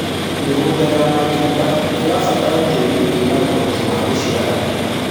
mĩgũnda ya matunda irabatara tĩĩri wina uhoti wa guciara